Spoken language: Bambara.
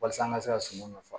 Walasa an ka se ka suman nafa